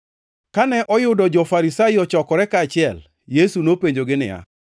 Kane oyudo jo-Farisai ochokore kaachiel, Yesu nopenjogi niya,